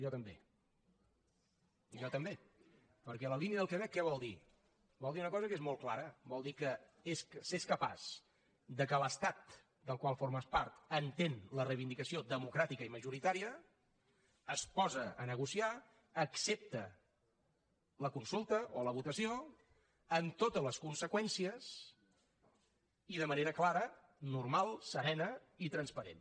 jo també jo també perquè la línia del quebec què vol dir vol dir una cosa que és molt clara vol dir que s’és capaç que l’estat del qual formes part entén la reivindicació democràtica i majoritària es posa a negociar accepta la consulta o la votació amb totes les conseqüències i de manera clara normal serena i transparent